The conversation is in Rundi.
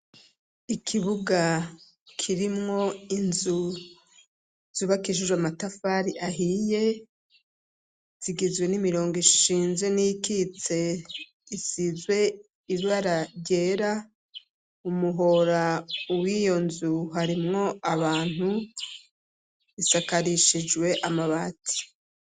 Ikibuga kirimwo inzu zubakishijwe amatafari ahiye zigizwe n'imirongo ishinze n'ikitse isize ibara ryera umuhora uwo iyo nzu harimwo abantu a akarishijwe amabati.